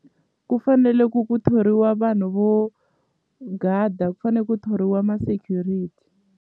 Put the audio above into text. Ku fanele ku ku thoriwa vanhu vo gada ku fane ku thoriwa ma-security.